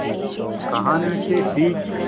कहानी से सीख